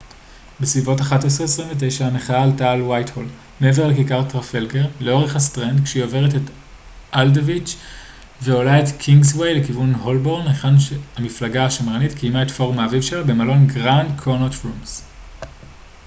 בסביבות 11:29 המחאה עלתה את ווייטהול מעבר לכיכר טרפלגר לאורך הסטרנד כשהיא עוברת את אלדוויץ' ועולה את קינגסווי לכיוון הולבורן היכן שהמפלגה השמרנית קיימה את פורום האביב שלה במלון grand connaught rooms